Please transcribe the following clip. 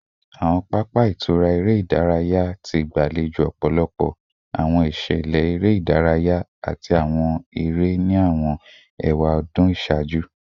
Awọn papa itura ere idaraya ti gbalejo ọpọlọpọ awọn iṣẹlẹ ere idaraya ati awọn ere ere ni awọn ewadun iṣaaju